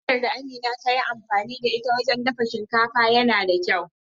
Hanyar da Amina ta yi amfani da ita wajen dafa shinkafa yana da kyau.